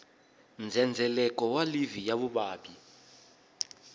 ndzhendzheleko wa livhi ya vuvabyi